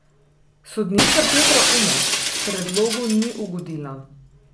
Sodnica Petra Umek predlogu ni ugodila.